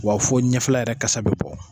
Wa fo ɲɛfɛla yɛrɛ kasa be bɔ.